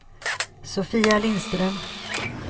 Sofia Lindström